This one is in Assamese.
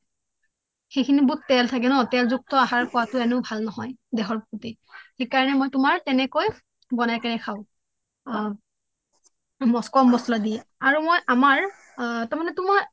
সেইখিনিত বহুত তেল থাকে ন এনেও তেল জুক্ত আহাৰ খোৱাটো ভাল নহয় দেহৰ প্ৰোতি সেইকাৰণে মই তোমাৰ তেনেকৈ বনাই কিনে খাও কম মচলা দিয়ে আৰু মই আমাৰ তাৰমানে তোমাৰ